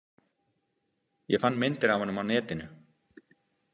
Ég fann myndir af honum á netinu.